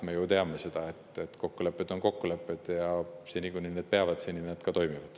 Me ju teame seda, et kokkulepped on kokkulepped, ja seni, kuni need peavad, need ka toimivad.